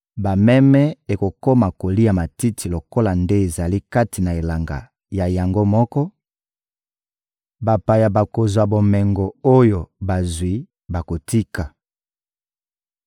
Bameme ekokoma kolia matiti lokola nde ezali kati na elanga na yango moko, bapaya bakozwa bomengo oyo bazwi bakotika.